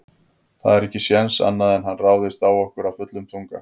Það er ekki séns annað en hann ráðist á okkur af fullum þunga.